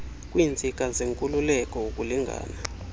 kwiintsika zenkululeko ukulingana